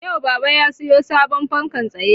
Yau baba ya sayo sabon fankan tsaye